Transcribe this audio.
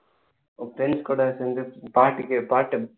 உன் friends கூட சேர்ந்து பாட்டுக்கு பாட்டு